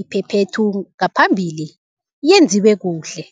iphephethu ngaphambili yenziwe kuhle.